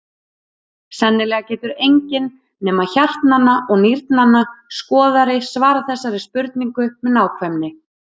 Sennilega getur enginn nema hjartnanna og nýrnanna skoðari svarað þessari spurningu með nákvæmni.